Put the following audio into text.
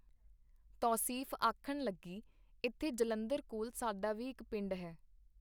ਤੌਸੀਫ਼ ਆਖਣ ਲੱਗੀ, ਇੱਥੇ ਜਲੰਧਰ ਕੋਲ ਸਾਡਾ ਵੀ ਇੱਕ ਪਿੰਡ ਹੈ.